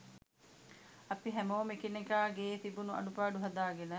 අපි හැමෝම එකිනෙකාගේ තිබුණු අඩුපාඩු හදාගෙන